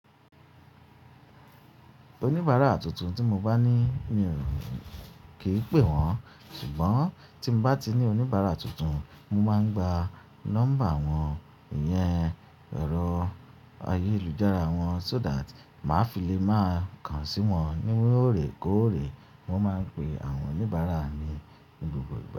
Oníbàárà tuntun tí mo bá ní, mi ò kí pè wọ́n. Ṣùgbọ́n tí mo bá ti ní oníbàárà tuntun, mo máa ń gba nọ́mbà wọ́n, ìyẹn ẹ̀rọ ayélujára wọ́n so that màá fi lè máa kan sí wọn ní òrè kóòrè. Wọ́n máa ń pe àwọn oníbàárà ni ní gbogbo ìgbà.